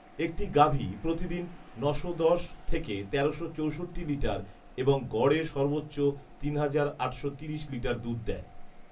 একটি গাভী প্রতিদিন নশো দশ থেকে তেরোশো চৌষট্টি লিটার এবং গড়ে সর্বোচ্চ তিন হাজার আটশো তিরিশ লিটার দুধ দেয়